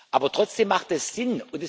Aber trotzdem macht es Sinn.